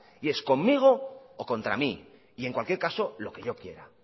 y es conmigo o contra mí y en cualquier caso lo que yo quiera